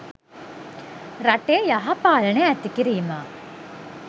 රටේ යහ පාලනය ඇති කිරීම